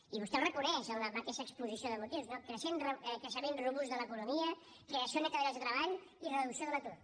i vostè ho reconeix en la mateixa exposició de motius no creixement robust de l’economia creació neta de llocs de treball i reducció de l’atur